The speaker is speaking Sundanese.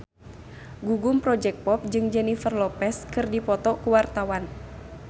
Gugum Project Pop jeung Jennifer Lopez keur dipoto ku wartawan